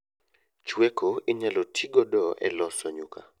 Chweko inyalo tii godo e loso nyuka